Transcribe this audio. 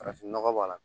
Farafinnɔgɔ b'a la